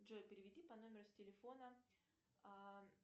джой переведи по номеру с телефона